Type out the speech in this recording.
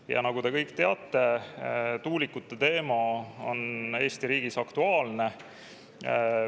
Ja nagu te kõik teate, tuulikute teema on Eesti riigis aktuaalne.